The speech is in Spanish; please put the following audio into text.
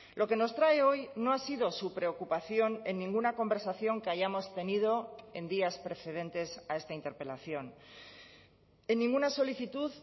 lo que nos trae hoy no ha sido su preocupación en ninguna conversación que hayamos tenido en días precedentes a esta interpelación en ninguna solicitud